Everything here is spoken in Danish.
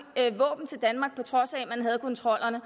våben til danmark på trods af at man havde kontrollerne